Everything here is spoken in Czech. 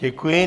Děkuji.